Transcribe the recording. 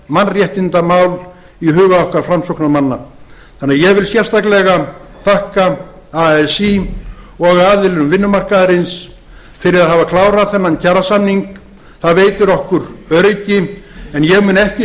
mannréttindamál í hugum okkar framsóknarmanna þannig að ég vil sérstaklega þakka así og aðilum vinnumarkaðarins fyrir að hafa klárað þennan kjarasamning það veitir okkur öryggi en ég mun ekki